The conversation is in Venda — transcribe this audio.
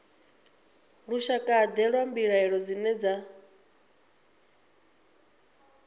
lushakade lwa mbilaelo dzine dza